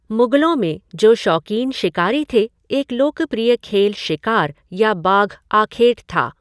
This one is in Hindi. मुगलों में, जो शौकीन शिकारी थे, एक लोकप्रिय खेल शिकार या बाघ आखेट था।